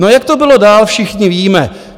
No, jak to bylo dál, všichni víme.